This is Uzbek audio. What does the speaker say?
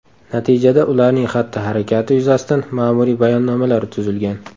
Natijada ularning xatti-harakati yuzasidan ma’muriy bayonnomalar tuzilgan.